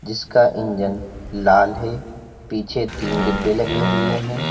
इसका इंजन लाल है पीछे तीन डिब्बे लगे हुए हैं।